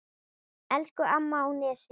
Elsku amma á Nesi.